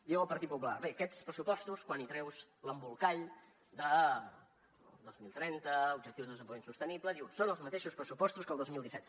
diu el partit popular bé aquests pressupostos quan hi treus l’embolcall del dos mil trenta objectius de desenvolupament sostenible són els mateixos pressupostos que el dos mil disset